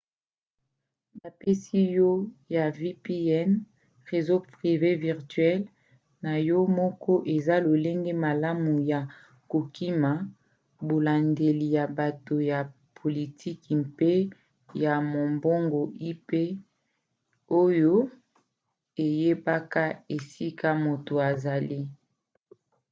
bapesi na yo ya vpn réseau privé virtuel na yo moko eza lolenge malamu ya kokima bolandeli ya bato ya politiki mpe ya mombongo ip oyo eyebaka esika moto azali